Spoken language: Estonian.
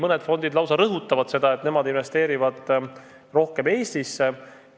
Mõne fondi puhul lausa rõhutatakse seda, et investeeritakse rohkem Eestisse.